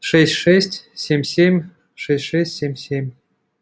шесть шесть семь семь шесть шесть семь семь